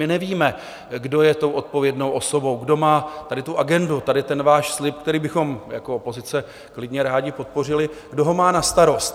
My nevíme, kdo je tou odpovědnou osobou, kdo má tady tu agendu, tady ten váš slib, který bychom jako opozice klidně rádi podpořili, kdo ho má na starost.